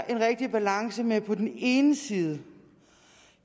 en rigtig balance mellem på den ene side